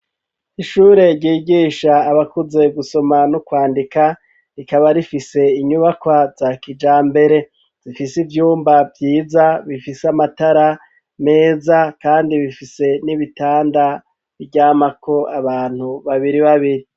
Ishure ryigisha abakuze gusoma no kwandika rikaba rifise inyubakwa za kijambere zifise ivyumba vyiza bifise amatara meza kandi bifise n'ibitanda biryamako abantu babiri babiri.